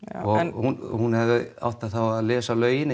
og hún hún hefði þá átt að lesa lögin